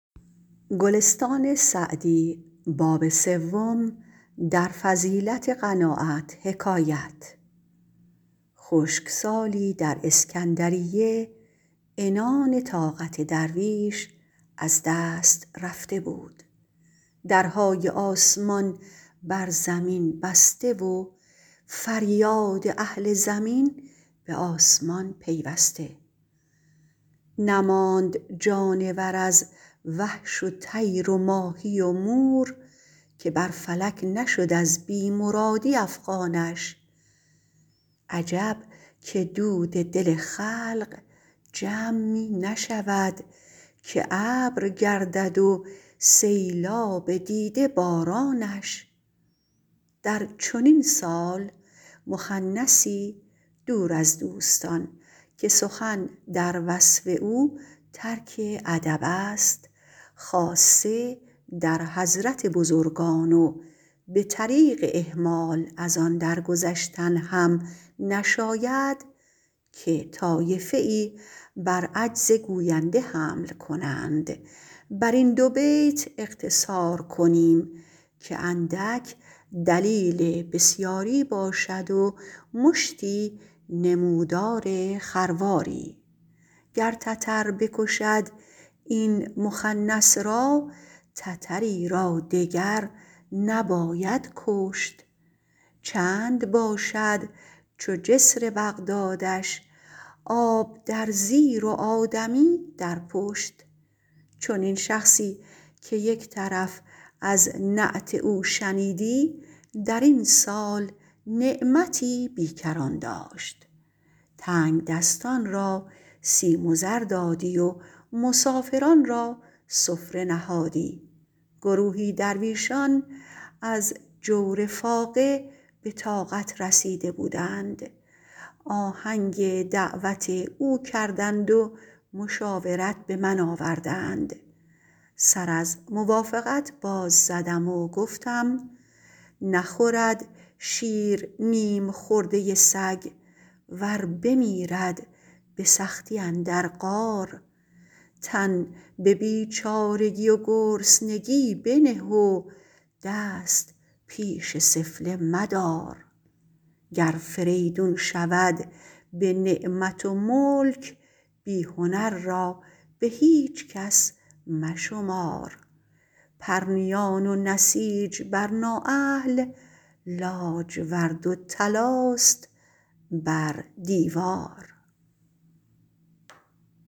خشکسالی در اسکندریه عنان طاقت درویش از دست رفته بود درهای آسمان بر زمین بسته و فریاد اهل زمین به آسمان پیوسته نماند جانور از وحش و طیر و ماهی و مور که بر فلک نشد از بی مرادی افغانش عجب که دود دل خلق جمع می نشود که ابر گردد و سیلاب دیده بارانش در چنین سال مخنثی دور از دوستان که سخن در وصف او ترک ادب است خاصه در حضرت بزرگان و به طریق اهمال از آن در گذشتن هم نشاید که طایفه ای بر عجز گوینده حمل کنند بر این دو بیت اقتصار کنیم که اندک دلیل بسیاری باشد و مشتی نمودار خرواری گر تتر بکشد این مخنث را تتری را دگر نباید کشت چند باشد چو جسر بغدادش آب در زیر و آدمی در پشت چنین شخصی -که یک طرف از نعت او شنیدی- در این سال نعمتی بیکران داشت تنگدستان را سیم و زر دادی و مسافران را سفره نهادی گروهی درویشان از جور فاقه به طاقت رسیده بودند آهنگ دعوت او کردند و مشاورت به من آوردند سر از موافقت باز زدم و گفتم نخورد شیر نیم خورده سگ ور بمیرد به سختی اندر غار تن به بیچارگی و گرسنگی بنه و دست پیش سفله مدار گر فریدون شود به نعمت و ملک بی هنر را به هیچ کس مشمار پرنیان و نسیج بر نااهل لاجورد و طلاست بر دیوار